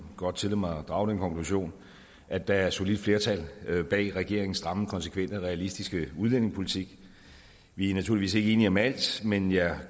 godt tillade mig at drage den konklusion at der er et solidt flertal bag regeringens stramme konsekvente og realistiske udlændingepolitik vi er naturligvis ikke enige om alt men jeg